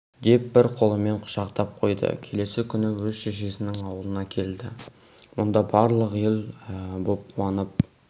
деп бір қолымен құшақтап қойды келесі күні өз шешесінің аулына келді мұнда барлық ел боп қуанып